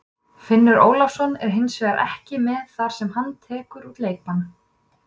Finnur Ólafsson er hins vegar ekki með þar sem hann tekur út leikbann.